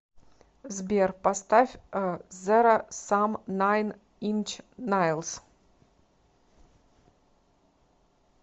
сбер поставь зеро сам найн инч найлс